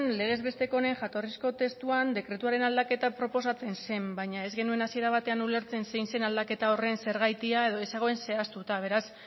legez besteko honen jatorrizko testuan dekretuaren aldaketa proposatzen zen baina ez genuen hasiera batean ulertzen zein zen aldaketa horren zergatia edo ez zegoen zehaztuta beraz